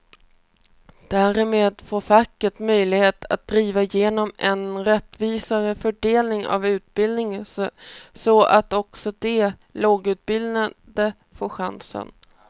Därmed får facket möjlighet att driva igenom en rättvisare fördelning av utbildningen så att också de lågutbildade får chansen.